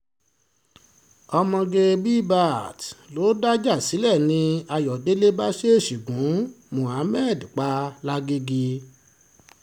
ọmọge bbaat ló dájà sílẹ̀ ni ayọ̀dẹ̀lẹ̀ bá ṣèèṣì gun muhammed pa muhammed pa lágaeègè